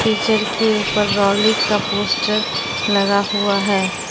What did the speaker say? Picture के ऊपर rally का पोस्टर लगा हुआ है।